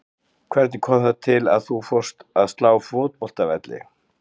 Hvernig kom það til að þú fórst að slá fótboltavelli?